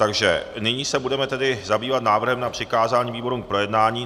Takže nyní se budeme tedy zabývat návrhem na přikázání výborům k projednání.